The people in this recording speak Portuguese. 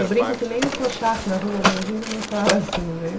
Eu brinco que nem o na rua, o mendigo não fala assim, né?